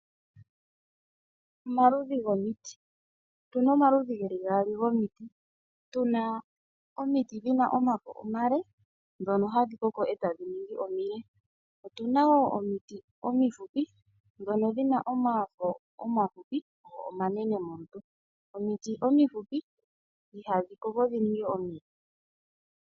Omaludhi gomiti Otuna omaludhi geli gaali gomiti, tuna omiti dhina omafo omale ndhono hadhi koko eta dhi ningi omile. Otuna wo omiti omifupi ndhono dhina omafo omafupi ,go omanene molutu. Omiti omifupi ihadhi koko dhi ninge omile.